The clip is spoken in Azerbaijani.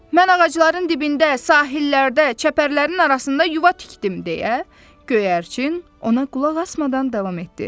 Mən ağacların dibində, sahillərdə, çəpərlərin arasında yuva tikdim deyə, göyərçin ona qulaq asmadan davam etdi.